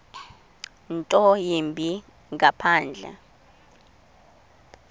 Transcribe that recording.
nto yimbi ngaphandle